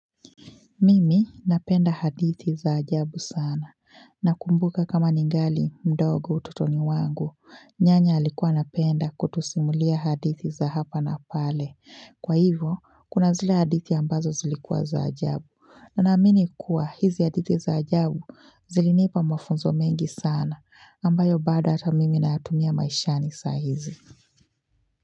Mimi napenda hadithi za ajabu sana na kumbuka kama ningali mdogo ututoni wangu nyanya alikuwa napenda kutusimulia hadithi za hapa na pale kwa hivyo kuna zile hadithi ambazo zilikuwa za ajabu na namini kuwa hizi hadithi za ajabu zilinipa mafunzo mengi sana ambayo badata mimi na hatumia maishani sa hizi.